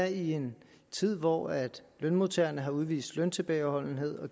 i en tid hvor lønmodtagerne har udvist løntilbageholdenhed har